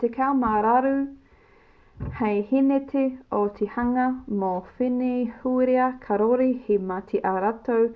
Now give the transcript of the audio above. tekau mā waru paehēneti o te hunga nō wenehūera kāore he mahi a rātou